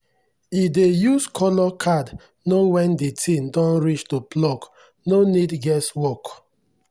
e dey use colour card know when the thing don reach to pluck no need guess work.